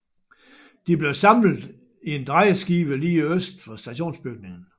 De blev samlet i en drejeskive lige øst for stationsbygningen